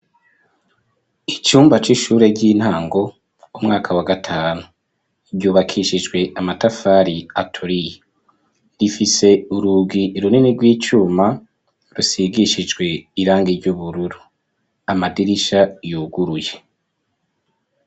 Icumba c'ishure ry'intango umwaka wa gatanu, ryubakishijwe amatafari aturiye, rifise urugi runini rw'icuma rusigishijwe irangi ry'ubururu, amadirisha yuguruye.